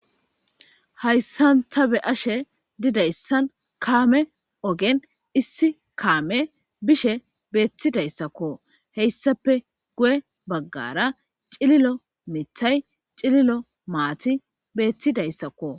Hayssanta be ashe didayssan kaame ogen issi kaame bishe beettidayssakko heyssape guye baggara cililo mithay cililo maati beettidayssakko.